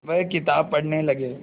वह किताब पढ़ने लगे